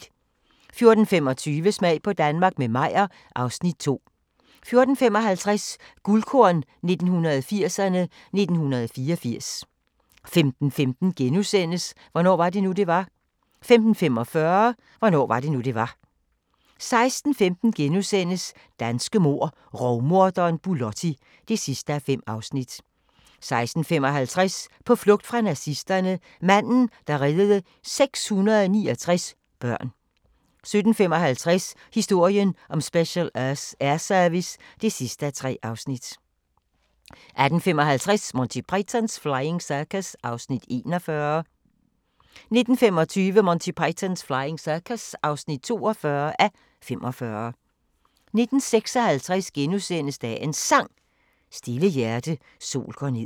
14:25: Smag på Danmark – med Meyer (Afs. 2) 14:55: Guldkorn 1980'erne: 1984 15:15: Hvornår var det nu, det var? * 15:45: Hvornår var det nu, det var? 16:15: Danske mord: Rovmorderen Bulotti (5:5)* 16:55: På flugt fra nazisterne – manden, der reddede 669 børn 17:55: Historien om Special Air Service (3:3) 18:55: Monty Python's Flying Circus (41:45) 19:25: Monty Python's Flying Circus (42:45) 19:56: Dagens Sang: Stille hjerte, sol går ned *